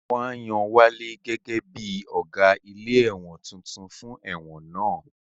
Wọ́n á yan Wálé gẹ́gẹ́ bí Ọ̀gá ilé ẹ̀wọ̀n tuntun fún ẹ̀wọ̀n náà